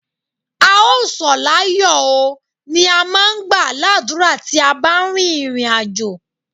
A ó sọ̀ láyó oo, ni a máà ń gbà ládùrá tí a bá ń rin ìrìn àjò.